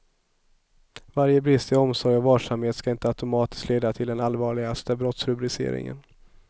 Varje brist i omsorg och varsamhet skall inte automatiskt leda till den allvarligaste brottsrubriceringen.